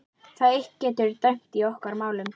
Það eitt getur dæmt í okkar málum.